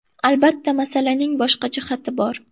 Albatta, masalaning boshqa jihati bor.